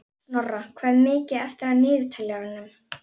Snorra, hvað er mikið eftir af niðurteljaranum?